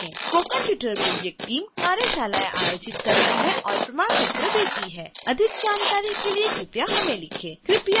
spoken tutorial project team कार्यशालाएं आयोजित करती है और प्रमाण पत्र देती है